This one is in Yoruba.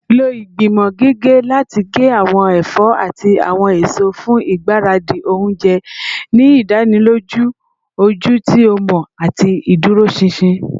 Lo igbimọ gige lati ge awọn ẹfọ ati awọn eso fun igbaradi ounjẹ, ni idaniloju oju ti o mọ ati iduroṣinṣin